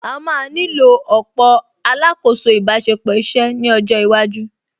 À má nílò ọ̀pọ̀ alákòóso ìbáṣepọ̀ iṣẹ́ ní ọjọ́ iwájú